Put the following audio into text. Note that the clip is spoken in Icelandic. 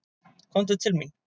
Komdu til mín.